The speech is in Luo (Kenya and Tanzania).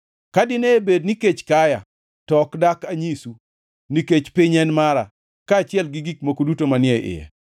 Ka dine bed ni kech kaya to ok dak anyisu, nikech piny en mara, kaachiel gi gik moko duto manie iye.